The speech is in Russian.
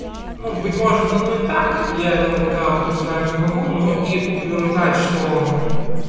ну быть может оно и так я этого пока утверждать не могу но и утверждать что